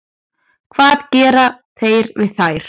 Hvað gera þeir við þær?